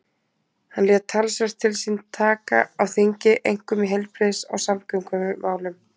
Hann lét talsvert til sín taka á þingi, einkum í heilbrigðis- og samgöngumálum.